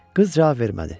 Qız cavab vermədi.